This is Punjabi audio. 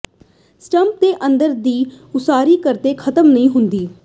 ਸਟੰਪ ਦੇ ਅੰਦਰ ਦੀ ਉਸਾਰੀ ਕਦੇ ਖਤਮ ਨਹੀਂ ਹੁੰਦੀ